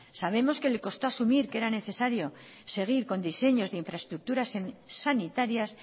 sabemos que le costó asumir que era necesario seguir con diseños de infraestructuras sanitarias